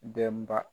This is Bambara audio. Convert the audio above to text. Denba